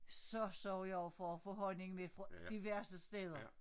Så sørger jeg også for at få honning med fra diverse steder